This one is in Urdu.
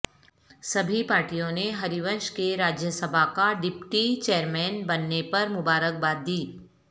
سبھی پارٹیوں نے ہریونش کے راجیہ سبھا کا ڈپٹی چیئرمین بننے پر مبارک باد دی